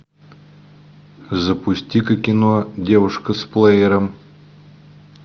запусти ка кино девушка с плеером